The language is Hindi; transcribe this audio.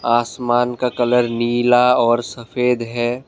आसमान का कलर नीला और सफेद है।